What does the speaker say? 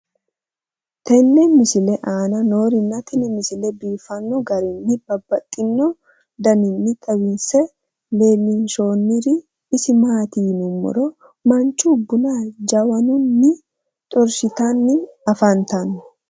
tenne misile aana noorina tini misile biiffanno garinni babaxxinno daniinni xawisse leelishanori isi maati yinummoro mancho bunna jawannunni xorishshittanni afanttanno